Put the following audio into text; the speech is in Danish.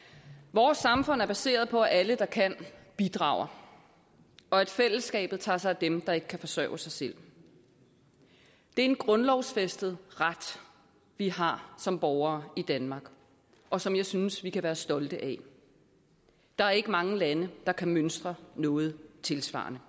vores samfund er baseret på at alle der kan bidrager og at fællesskabet tager sig af dem der ikke kan forsørge sig selv det er en grundlovsfæstet ret vi har som borgere i danmark og som jeg synes vi kan være stolte af der er ikke mange lande der kan mønstre noget tilsvarende